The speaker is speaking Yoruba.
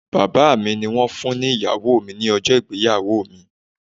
Bàbá mi ni wón fún ni Ìyàwó mi ní ọjọ́ ìgbéyàwó mi